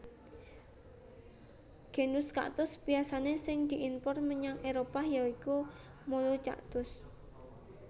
Genus kaktus pisanan sing diimpor menyang Éropah ya iku Melocactus